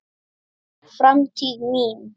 Framtíð mín?